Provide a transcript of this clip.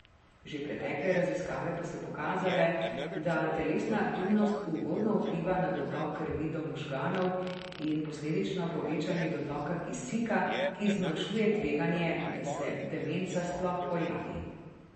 Že pretekle raziskave pa so pokazale, da telesna aktivnost ugodno vpliva na dotok krvi do možganov in posledično povečanje dotoka kisika, ki zmanjšuje tveganje, da se demenca sploh pojavi.